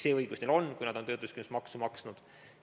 See õigus neil on, kui nad on töötuskindlustusmaksu maksnud.